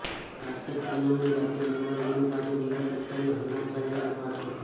કારતક પૂનમની રાતે હનુમાનજીની પાસે દીવો પ્રગટાવી હનુમાન ચાલીસાનો પાઠ કરો